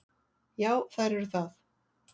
Já, þær eru það.